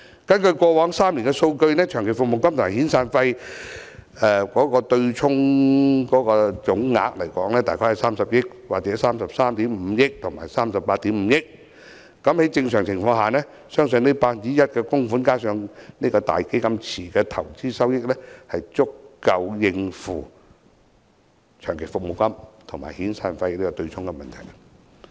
根據過往3年的數據，長期服務金及遣散費對沖總額分別大概30億元、33億 5,000 萬元及38億 5,000 萬元，在正常情況下，相信 1% 的供款加上"大基金池"的投資收益，足夠應付長期服務金及遣散費的對沖問題。